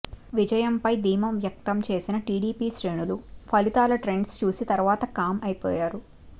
విజయం పైన ధీమా వ్యక్తం చేసిన టీడీపీ శ్రేణులు ఫలితాల ట్రెండ్స్ చూసిన తరువాత కామ్ అయిపోయారు